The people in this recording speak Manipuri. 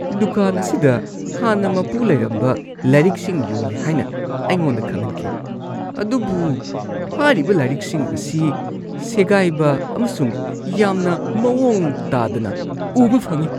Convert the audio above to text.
ꯗꯨꯀꯥꯟ ꯑꯁꯤꯗ ꯍꯥꯟꯅ ꯃꯄꯨ ꯂꯩꯔꯝꯕ ꯂꯥꯏꯔꯤꯛꯁꯤꯡ ꯌꯣꯜꯂꯦ ꯍꯥꯏꯅ ꯑꯩꯉꯣꯟꯗ ꯈꯪꯍꯟꯈꯤ ꯑꯗꯨꯕꯨ ꯍꯥꯏꯔꯤꯕ ꯂꯥꯏꯔꯤꯛꯁꯤꯡ ꯑꯁꯤ ꯁꯦꯒꯥꯏꯕ ꯑꯃꯁꯨꯡ ꯌꯥꯝꯅ ꯃꯑꯣꯡ ꯇꯥꯗꯅ ꯎꯕ ꯐꯪꯉꯤ ꯫